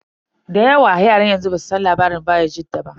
Da yawa yaran yanzu basu san labarin bayajidda ba.